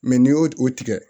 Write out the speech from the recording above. n'i y'o o tigɛ